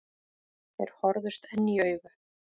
Þeir horfðust enn í augu.